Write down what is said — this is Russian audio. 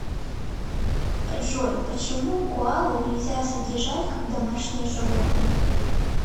джой почему коалу нельзя содержать как домашнее животное